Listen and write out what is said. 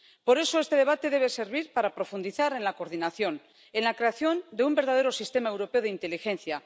Por eso, este debate debe servir para profundizar en la coordinación, en la creación de un verdadero sistema europeo de inteligencia.